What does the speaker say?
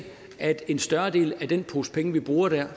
at en større del af den pose penge man bruger der